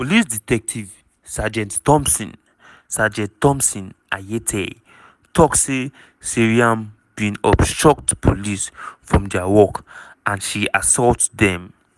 police detective sergeant thomson sergeant thomson ayitey tok say "seyram bin obstruct police from dia work and she assault dem".